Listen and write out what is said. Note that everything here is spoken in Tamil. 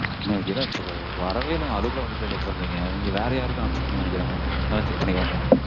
mam வரவே இல்ல mam. அதுக்குள்ள வந்துருச்சானு check பண்றீங்க. நீங்க வேற யாருக்கோ அனுப்பிச்சிட்டீங்கன்னு நெனைக்கறேன் mam. நல்லா check பண்ணிக்கோங்க